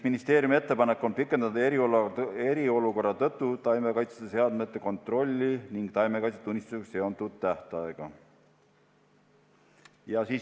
Ministeeriumi ettepanek on pikendada eriolukorra tõttu taimekaitseseadmete kontrolli ning taimekaitsetunnistusega seonduvat tähtaega.